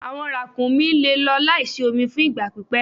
Awọn rakúmí le lọ laísí omi fún ìgba pípẹ̀